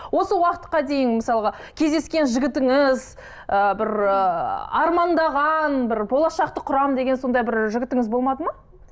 осы уақытқа дейін мысалға кездескен жігітіңіз ы бір ыыы армандаған бір болашақты құрамын деген сондай бір жігітіңіз болмады ма